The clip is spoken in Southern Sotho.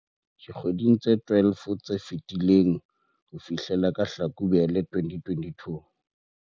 dikgweding tse 12 tse fetileng ho fihlela ka Hlakubele 2022.